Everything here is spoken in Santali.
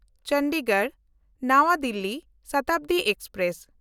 ᱪᱚᱱᱰᱤᱜᱚᱲ–ᱱᱟᱣᱟ ᱫᱤᱞᱞᱤ ᱥᱚᱛᱟᱵᱫᱤ ᱮᱠᱥᱯᱨᱮᱥ